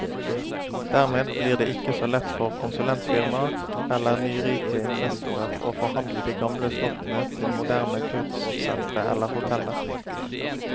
Dermed blir det ikke så lett for konsulentfirmaer eller nyrike investorer å forvandle de gamle slottene til moderne kurssentre eller hoteller.